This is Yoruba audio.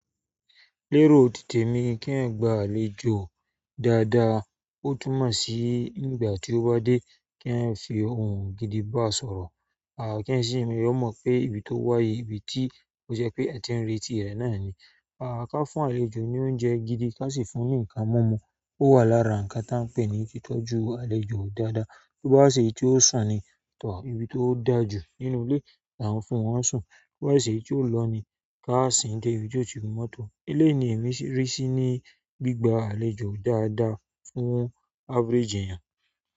Lérò ti tèmi kéèyàn gba àlejò dáadáa. Ó túmọ̀ sí nígbà tí ó bá dé, kéèyàn fi ohùn gidi báa sọ̀rọ̀. À kí ẹ sì rí ọmọ pé ibi tó wáyé, ibi tí ó jẹ́ pé a ti ń retí rẹ̀ náà ni. Kán fún àlejò ní oúnjẹ gidi kán sì fún ní nǹkan múmu. Ó wà lára nǹkan táà ń pè ní títọ́ju àlejò dáadáa. Tó bá wá ṣèyí tí ó sùn ni, tọ́ ibi tó da jù nínú ilé tá ń fún wọn sùn. Bí bá ṣe tí ó lọ ni, ká sìn-ín dé ibi tí ó ti gun mọ́tò. Eléyìí ni èmi rí sí ní gbígba àlejò dáadáa fún average èèyàn.